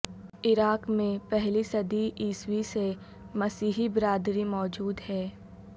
عراق میں پہلی صدی عیسوی سے مسیحی برادری موجود ہے